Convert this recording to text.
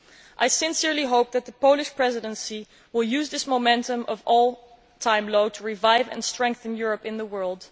I sincerely hope that the Polish Presidency will use this momentum of an all time low to revive and strengthen Europe in the world.